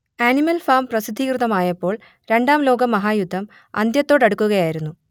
animal farm പ്രസിദ്ധീകൃതമായപ്പോൾ രണ്ടാം ലോകമഹായുദ്ധം അന്ത്യത്തോടടുക്കുകയായിരുന്നു